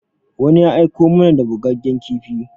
Wani ya aiko mana da bugaggen kifi.